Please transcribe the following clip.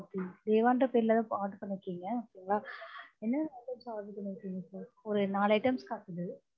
okay தேவாங்கிற பேர்லதான் order பண்ணிருக்கீங்க okay ங்லா என்னென்ன items order பண்ணிருக்கீங்க sir ஒரு நாலு items காட்டுது